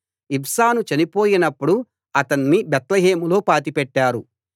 ఇబ్సాను చనిపోయినప్పుడు అతణ్ణి బేత్లెహేములో పాతిపెట్టారు